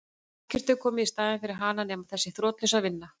Ekkert hefur komið í staðinn fyrir hana nema þessi þrotlausa vinna.